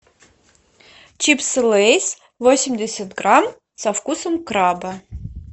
чипсы лейс восемьдесят грамм со вкусом краба